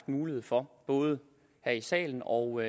mulighed for både her i salen og